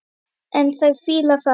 En þær fíla það.